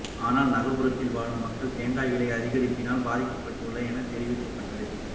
ஆனால் நகரப் புறத்தில் வாழும் மக்கள் தேங்காய் விலை அதிகரிப்பினால் பாதிக்கப்பட்டுள்ளனர் எனத் தெரிவிக்கப்பட்டது